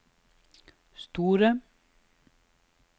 store